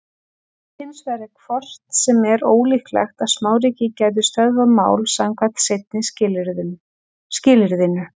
Hins vegar er hvort sem er ólíklegt að smáríki gætu stöðvað mál samkvæmt seinna skilyrðinu.